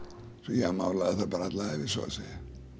ég málaði þar bara alla ævi svo að segja